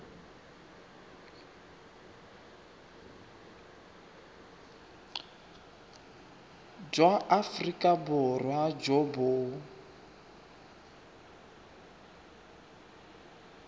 jwa aforika borwa jo bo